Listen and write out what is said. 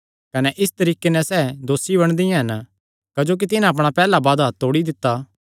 कने इस तरीके नैं सैह़ दोसी बणदियां हन क्जोकि तिन्हां अपणा पैहल्ला वादा तोड़ी दित्ता